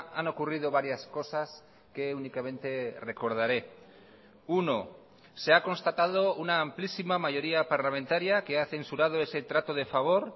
han ocurrido varias cosas que únicamente recordaré uno se ha constatado una amplísima mayoría parlamentaria que ha censurado ese trato de favor